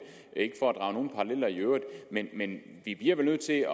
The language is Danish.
er ikke for at drage nogen paralleller i øvrigt men men vi bliver vel nødt til